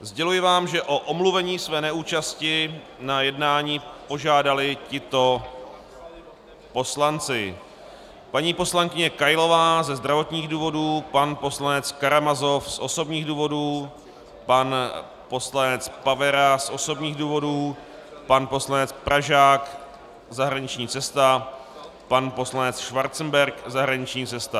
Sděluji vám, že o omluvení své neúčasti na jednání požádali tito poslanci: paní poslankyně Kailová ze zdravotních důvodů, pan poslanec Karamazov z osobních důvodů, pan poslanec Pavera z osobních důvodů, pan poslanec Pražák - zahraniční cesta, pan poslanec Schwarzenberg - zahraniční cesta.